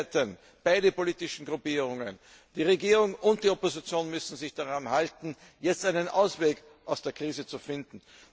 Beide Seiten, beide politischen Gruppierungen die Regierung und die Opposition müssen sich daran halten, jetzt einen Ausweg aus der Krise zu finden.